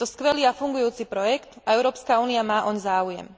Je to skvelý a fungujúci projekt a Európska únia má oň záujem.